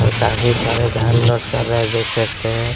और काफ़ी धान लोड कर रहे है देख सकते है।